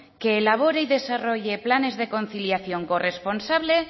con que elabore y desarrolle planes de conciliación corresponsable